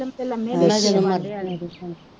ਨੀਲਮ ਤੇ ਲਮੀ ਪਈ,